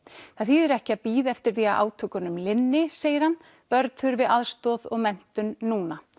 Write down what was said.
það þýðir ekki að bíða eftir því að átökunum linni segir hann börn þurfi aðstoð og menntun núna